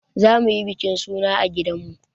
Za mu yi bikin suna a gidan mu.